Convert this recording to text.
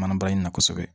Mana baara in na kosɛbɛ